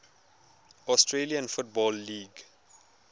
australian football league